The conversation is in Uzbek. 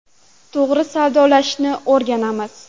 To‘g‘ri savdolashishni o‘rganamiz.